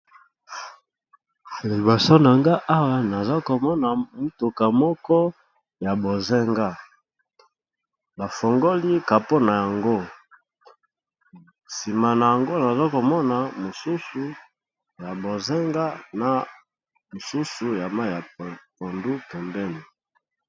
Liboso nangai Awa nazokomona mutuka moko ya bonzinga bafongoli capeau nayango sima nayango nasokomoka mususu ya bonzinga na ya ba langi ya pondu pembeni.